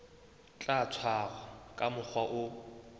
tla tshwarwa ka mokgwa o